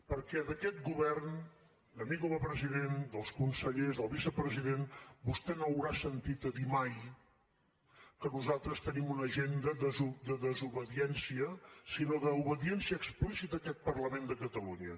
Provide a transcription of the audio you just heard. perquè d’aquest govern de mi com a president dels consellers del vicepresident vostè no haurà sentit a dir mai que nosaltres tenim una agenda de desobediència sinó d’obediència explícita a aquest parlament de catalunya